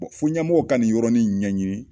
Fɔ ɲɛmɔgɔw ka nin yɔrɔni ɲɛɲini